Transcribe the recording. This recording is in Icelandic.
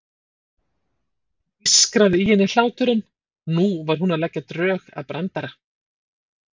Það ískraði í henni hláturinn, nú var hún að leggja drög að brandara.